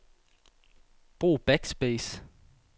Brug backspace.